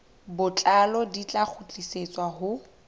botlalo di tla kgutlisetswa ho